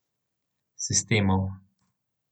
Sistemov.